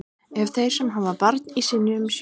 Ef þeir sem hafa barn í sinni umsjá